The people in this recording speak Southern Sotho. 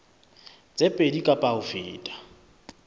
tse pedi kapa ho feta